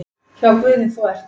Hjá Guði þú ert.